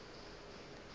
ke gore ba be ba